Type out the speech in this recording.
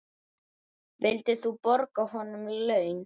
Vildir þú borga honum laun?